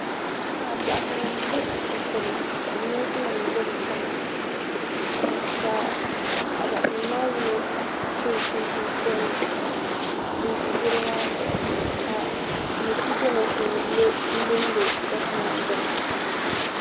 Paɣa doɣoso nima m bɛ ashiptini ka neesi nima be bɛ sani ka paɣa doɣoso nima maa ni yino so chinchini piɛlli n ʒi goro maa zuɣu ka Miskito n lonlo goriti maa gbini.